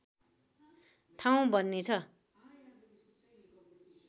ठाउँ बन्नेछ